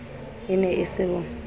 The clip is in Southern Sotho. e ne e se ho